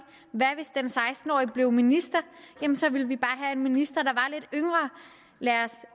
hvad hvis en seksten årig blev minister så ville vi bare have en minister